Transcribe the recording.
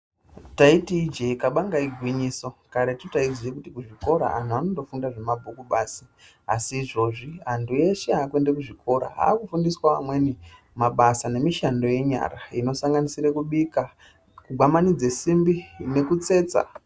Taiti ijee kabanga igwinyiso karetu taiziya kuti kuzvikora antu anondofunda zvemabhuku basi asi izvozvi antu eshe akuende kuzvikoro akufundiswawo amweni mabasa nemishando yenyara inosanganisire kubika kugwamanidze simbi nekutsetsa.